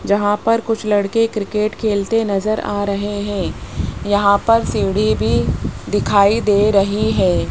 जहां पर कुछ लड़के क्रिकेट खेलते नजर आ रहे हैं यहां पर सीढ़ी भी दिखाई दे रही है।